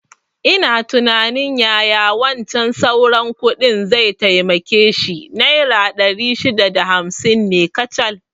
Ina tunanin yaya wancan sauran kuɗin zai taimake shi, naira ɗari shida da hamsin ne kacal